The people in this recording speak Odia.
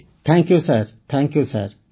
thank you sir thank you sir